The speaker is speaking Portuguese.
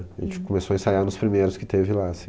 A gente começou a ensaiar nos primeiros que teve lá, assim.